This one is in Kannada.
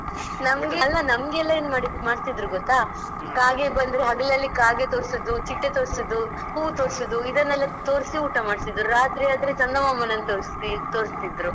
ಅಲ್ಲ ನಮ್ಗೆಲ್ಲಾ ಏನ್ ಮಾಡ್ತಿದ್ರು ಗೊತ್ತಾ ಕಾಗೆ ಬಂದ್ರೆ ಹಗಲಲ್ಲಿ ಕಾಗೆ ತೋರ್ಸುದು ಚಿಟ್ಟೆ ತೋರ್ಸುದು ಹೂ ತೋರ್ಸುದು ಇದನೆಲ್ಲ ತೋರ್ಸಿ ಊಟ ಮಾಡ್ಸುದು. ರಾತ್ರಿ ಆದ್ರೆ ಚಂದ ಮಾಮನನ್ನು ತೋರ್ಸಿ ತೋರಿಸ್ತಿದ್ರು.